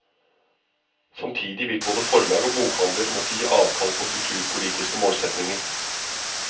Samtidig vil både forlag og bokhandler måtte gi avkall på kulturpolitiske målsetninger.